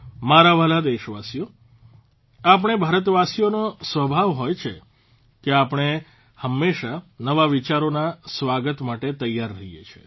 મારા વહાલા દેશવાસીઓ આપણે ભારતવાસીઓનો સ્વભાવ હોય છે કે આપણે હંમેશા નવા વિચારોના સ્વાગત માટે તૈયાર રહીએ છીએ